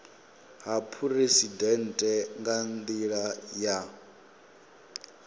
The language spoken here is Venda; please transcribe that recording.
ha phuresidennde nga nila ya